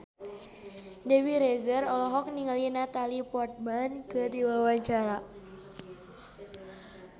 Dewi Rezer olohok ningali Natalie Portman keur diwawancara